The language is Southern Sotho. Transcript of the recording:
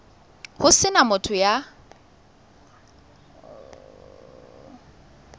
ho se na motho ya